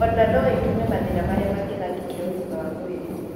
Ona no ĩtũme mathĩna marĩa magĩtharĩkĩra ũgima wa mwĩrĩ.